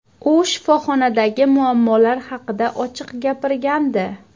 U shifoxonadagi muammolar haqida ochiq gapirgandi .